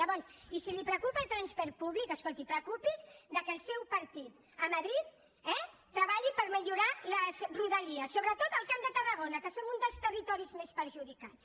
llavors i si el preocupa el transport públic escolti preocupi’s que el seu partit a madrid eh treballi per millorar les rodalies sobretot al camp de tarragona que som un dels territoris més perjudicats